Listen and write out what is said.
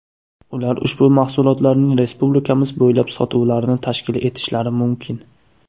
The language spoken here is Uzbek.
Ular ushbu mahsulotlarning respublikamiz bo‘ylab sotuvlarini tashkil etishlari mumkin.